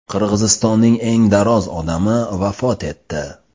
Qirg‘izistonning eng daroz odami vafot etdi.